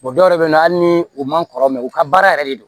dɔw yɛrɛ bɛ yen nɔ hali ni u man kɔrɔ mɛ u ka baara yɛrɛ de don